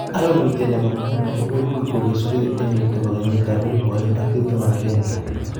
Arorutiet nebo nguno kupekul kokesugei eng let nebo konyit ab elpu oeng ak tiptem ak akenge